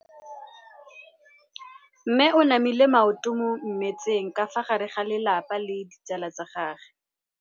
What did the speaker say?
Mme o namile maoto mo mmetseng ka fa gare ga lelapa le ditsala tsa gagwe.